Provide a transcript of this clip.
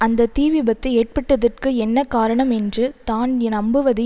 அந்த தீ விபத்து ஏற்பட்டதற்கு என்ன காரணம் என்று தான் நம்புவது